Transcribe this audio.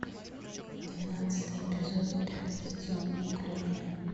двенадцатый эпизод пятый сезон неуклюжая